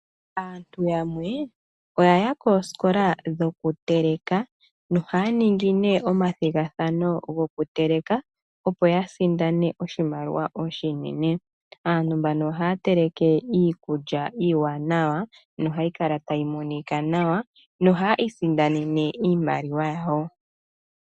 Aantu yamwe oya ya kooskola dhoku teleka, nohaya ningi ne omathigathano gokuteleka, opo yasindane oshimaliwa oshinene. Aantu mbano ohaya teleke iikulya iiwanawa, nohayi kala tayi monika nawa, nohaya isindanene iimaliwa yawo.